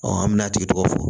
an bɛna a tigi tɔgɔ fɔ